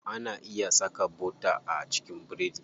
Ana iya saka bota a cikin biredi.